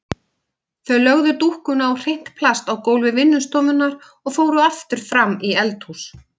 Þau lögðu dúkkuna á hreint plast á gólfi vinnustofunnar og fóru aftur fram í eldhús.